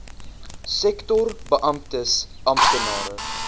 sektor beamptes amptenare